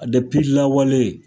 A lawale